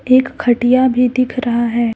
एक खटिया भी दिख रहा है।